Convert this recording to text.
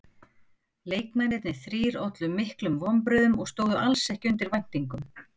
Leikmennirnir þrír ollu miklum vonbrigðum og stóðu alls ekki undir væntingum.